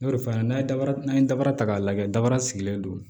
N y'o de fɔ a ɲɛna n'a ye dara n'a ye dara ta k'a lajɛ dabara sigilen don